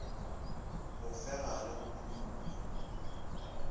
go fega le go phumola